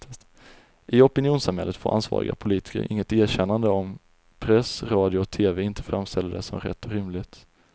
I opinionssamhället får ansvariga politiker inget erkännande om press, radio och tv inte framställer det som rätt och rimligt.